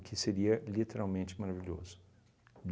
que seria literalmente maravilhoso.